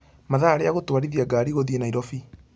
mathaa rĩa gũtwarithia ngari gũthiĩ nairobi